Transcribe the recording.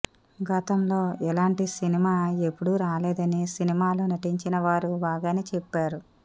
గతంలో ఇలాంటి సినిమా ఎప్పుడు రాలేదని సినిమాలో నటించిన వారు బాగానే చెప్పారు